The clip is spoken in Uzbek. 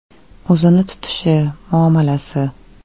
O‘zini tutishi, muomalasi.